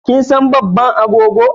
Kin san babban angon?